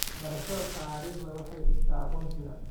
Barashada taariikhda waxay dhistaa aqoonsiga.